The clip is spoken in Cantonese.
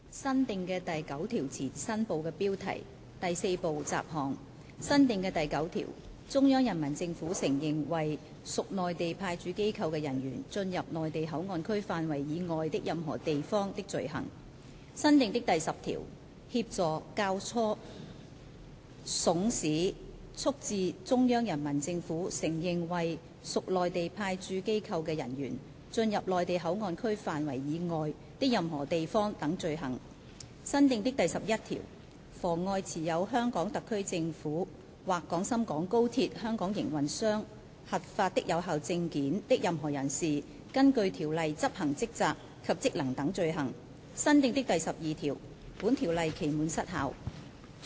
新訂的第9條前第4部雜項新部的標題新訂的第9條中央人民政府承認為屬內地派駐機構的人員進入內地口岸區範圍以外的任何地方的罪行新訂的第10條協助、教唆、慫使、促致中央人民政府承認為屬內地派駐機構的人員進入內地口岸區範圍以外的任何地方等罪行新訂的第11條妨礙持有香港特區政府或廣深港高鐵香港營運商核發的有效證件的任何人士根據條例執行職責及職能等罪行新訂的第12條本條例期滿失效。